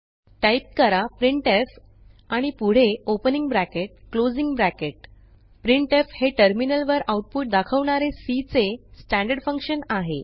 type करा printf आणि पुढे opening bracket closing bracket printf हे टर्मिनलवर आउटपुट दाखवणारे सी चे स्टँडर्ड फंक्शन आहे